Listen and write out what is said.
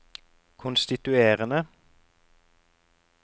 konstituerende